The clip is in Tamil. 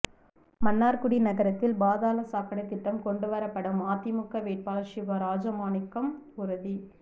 மன்னார்குடி நகரத்தில் பாதாள சாக்கடை திட்டம் கொண்டுவரப்படும் அதிமுக வேட்பாளர் சிவா ராஜமாணிக்கம் உறுதி